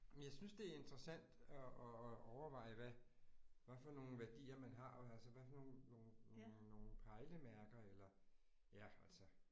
Jamen jeg synes det er interessant at at at overveje hvad hvad for nogle værdier man har og altså hvad for nogle nogle nogle nogle pejlemærker eller ja altså